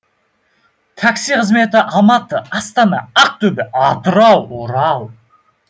такси қызметі алматы астана ақтөбе атырау орал